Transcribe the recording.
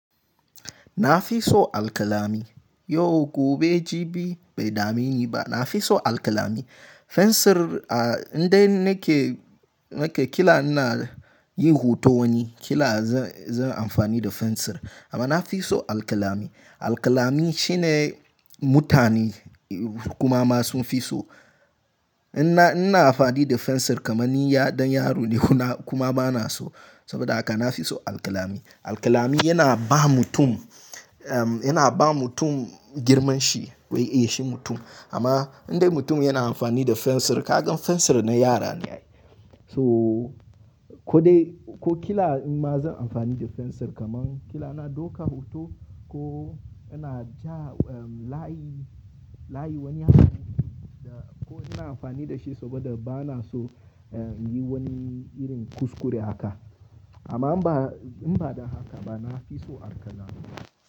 Na fi so alkalami. Yau gobe jibi bai dame ni ba. Na fi so alkalami. Fensir a inda nake, nake kila ina yin hoto wani kila zan, zan amfani da fensir. Amma na fi so alkalami. Alkalami shine mutane kuma ma sun fi so. In ina amfani da fensir kamar ni dan yaro ne kuma bana so saboda haka na fi so alkalami. Alkalami yana ba mutum, yana ba mutum girman shi wai eh shi mutum. Amma indai mutum yana amfani da fensir, ka gan fensir na yara ne. So ko dai ko kila in ma zan amfani da fensir kamar kila ina dauka hoto ko ina ja layi, layi wani hakan ko ina amfani da shi saboda bana so in yi wani irin kuskure haka. Amma in ba, in ba don haka ba na fi so alkalami.